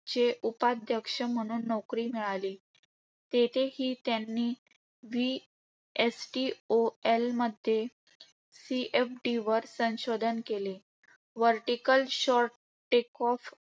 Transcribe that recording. चे उपाध्यक्ष म्हणून नोकरी मिळाली. तेथे त्यांनी VSTOL मध्ये CFD वर संशोधन केले. Vertical short takeoff